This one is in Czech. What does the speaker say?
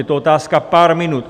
Je to otázka pár minut.